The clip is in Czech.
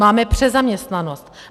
Máme přezaměstnanost.